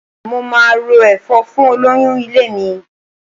Mo máa ro ẹ̀fọ́ fún olóyún ilé mi.